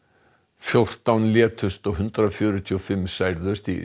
fjórtán létust og hundrað fjörutíu og fimm særðust í